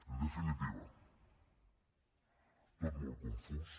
en definitiva tot molt confús